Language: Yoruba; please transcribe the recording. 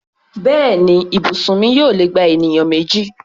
Bẹ́ẹ̀ni, ibùsùn mi yóò lè gba ènìyàn méjì.